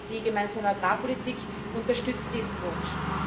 Die Gemeinsame Agrarpolitik unterstützt diesen Wunsch.